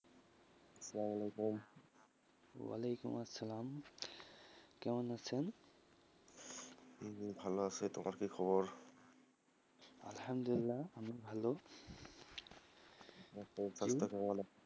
সালামআলাইকুম, ওয়ালাইকুম আসসালাম, কেমন আছেন? এই যে ভালো আছি তোমাদের কি খবর? আলহামদুল্লা, আমি ভালো, ,